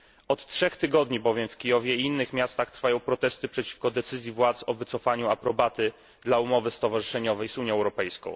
Od trzech tygodni bowiem w Kijowie i innych miastach trwają protesty przeciwko decyzji władz o wycofaniu aprobaty dla umowy stowarzyszeniowej z Unią Europejską.